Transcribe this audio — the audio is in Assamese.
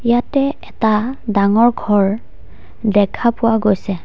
ইয়াতে এটা ডাঙৰ ঘৰ দেখা পোৱা গৈছে।